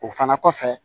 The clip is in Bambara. O fana kɔfɛ